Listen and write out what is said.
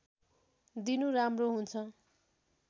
दिनु राम्रो हुन्छ